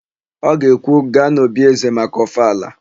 Ọ ga-ekwu, "gaa n'òbí ézē maka ọfala"!